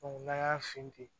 n'an y'a fin ten